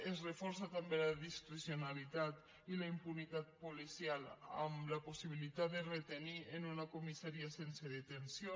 es reforça també la discrecionalitat i la impunitat policial amb la possibilitat de retenir en una comissaria sense detenció